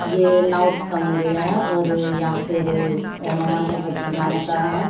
ये नाउट का मंदिर है और या फिर एनो मन बाबा की मान्यता है।